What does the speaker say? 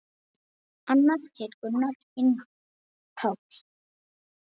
Annar heitir Gunnar, hinn Páll.